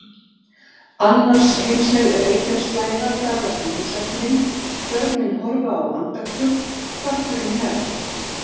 Annarsheimsleg reykjarslæða ferðast um húsakynnin, börnin horfa á andaktug, kötturinn hnerrar.